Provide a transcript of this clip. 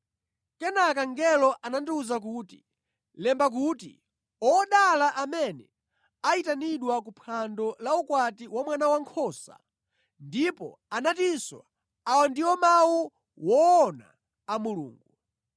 Kenaka mngelo anandiwuza kuti, “Lemba kuti, Odala amene ayitanidwa ku phwando la ukwati wa Mwana Wankhosa.” Ndipo anatinso, “Awa ndiwo mawu woona a Mulungu.”